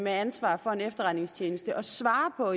ansvar for en efterretningstjeneste at svare på